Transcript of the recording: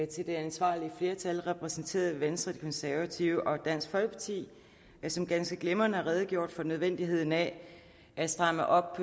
til det ansvarlige flertal repræsenteret ved venstre de konservative og dansk folkeparti som ganske glimrende redegjorde for nødvendigheden af at stramme op